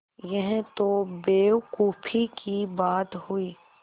यह तो बेवकूफ़ी की बात हुई